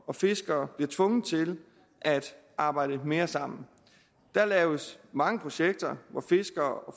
og fiskere bliver tvunget til at arbejde mere sammen der laves mange projekter hvor fiskere og